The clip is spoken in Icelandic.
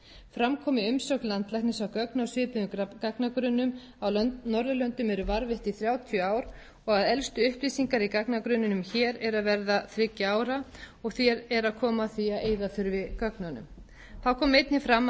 fram kom í umsögn landlæknis að gögn í svipuðum gagnagrunnum á norðurlöndum eru varðveitt í þrjátíu ár og að elstu upplýsingar í gagnagrunninum hér eru að verða þriggja ára og því er að koma að því að eyða þurfi gögnunum þá kom einnig fram að